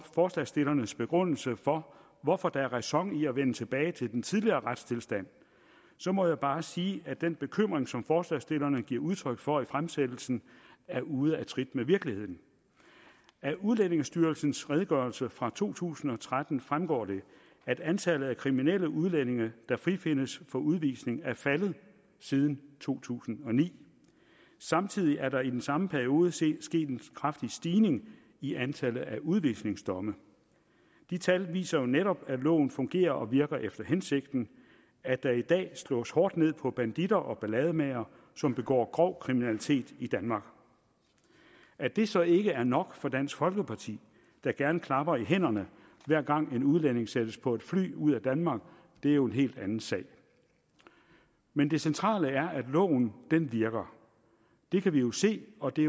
forslagsstillernes begrundelse for hvorfor der er ræson i at vende tilbage til den tidligere retstilstand så må jeg bare sige at den bekymring som forslagsstillerne giver udtryk for i fremsættelsen er ude af trit med virkeligheden af udlændingestyrelsens redegørelse fra to tusind og tretten fremgår det at antallet af kriminelle udlændinge der frifindes for udvisning er faldet siden to tusind og ni samtidig er der i den samme periode sket en kraftig stigning i antallet af udvisningsdomme de tal viser jo netop at loven fungerer og virker efter hensigten at der i dag slås hårdt ned på banditter og ballademagere som begår grov kriminalitet i danmark at det så ikke er nok for dansk folkeparti der gerne klapper i hænderne hver gang en udlænding sættes på et fly ud af danmark er jo en helt anden sag men det centrale er at loven virker det kan vi jo se og det